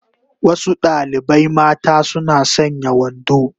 Wasu dalibai mata suna sanya wando